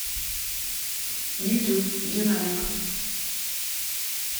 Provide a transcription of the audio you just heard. ютуб динамик